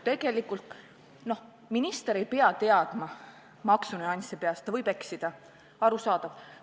Tegelikult minister ei pea maksunüansse peast teadma, ta võib eksida – arusaadav.